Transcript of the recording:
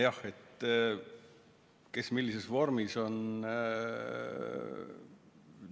Jah, kes millises vormis parajasti on ...